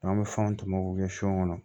N'an bɛ fɛnw tɔmɔ k'u kɛ sɔ kɔnɔ